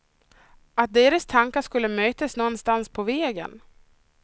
Att deras tankar skulle mötas någonstans på vägen.